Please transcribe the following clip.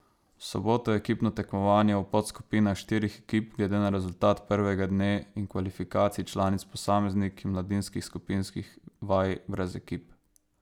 V soboto je ekipno tekmovanje v podskupinah štirih ekip glede na rezultat prvega dne in kvalifikacij članic posameznic in mladinskih skupinskih vaj brez ekip.